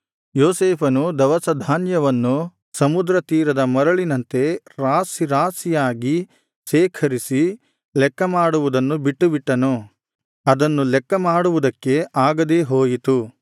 ಯೋಸೇಫನು ದವಸಧಾನ್ಯವನ್ನು ಸಮುದ್ರ ತೀರದ ಮರಳಿನಂತೆ ರಾಶಿರಾಶಿಯಾಗಿ ಶೇಖರಿಸಿ ಲೆಕ್ಕ ಮಾಡುವುದನ್ನು ಬಿಟ್ಟುಬಿಟ್ಟನು ಅದನ್ನು ಲೆಕ್ಕ ಮಾಡುವುದಕ್ಕೆ ಆಗದೇ ಹೋಯಿತು